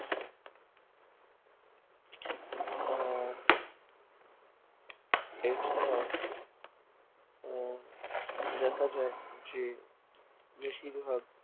আহ এছাড়াও আহ দেখা যায় যে বেশিরভাগ